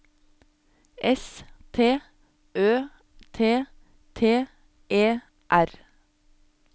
S T Ø T T E R